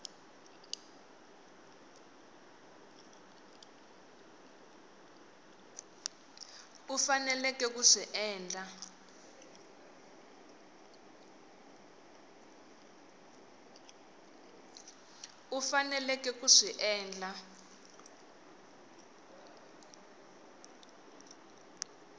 u faneleke ku swi endla